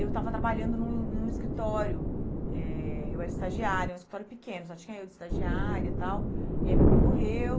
Eu estava trabalhando num num escritório, eh eu era estagiária, um escritório pequeno, só tinha eu de estagiária e tal, e aí meu pai morreu.